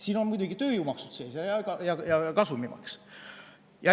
Siin on muidugi sees tööjõumaksud ja kasumimaks.